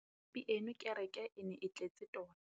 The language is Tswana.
pieno kêrêkê e ne e tletse tota.